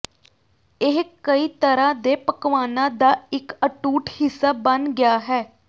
ਇਹ ਕਈ ਤਰ੍ਹਾਂ ਦੇ ਪਕਵਾਨਾਂ ਦਾ ਇੱਕ ਅਟੁੱਟ ਹਿੱਸਾ ਬਣ ਗਿਆ ਹੈ